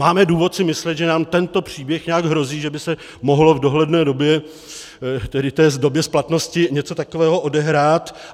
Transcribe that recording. Máme důvod si myslet, že nám tento příběh nějak hrozí, že by se mohlo v dohledné době, tedy v době splatnosti, něco takového odehrát?